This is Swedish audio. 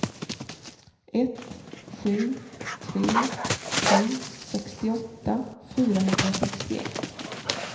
ett sju tre sju sextioåtta fyrahundrasextioett